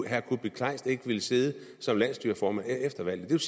herre kuupik kleist ikke ville sidde som landsstyreformand efter valget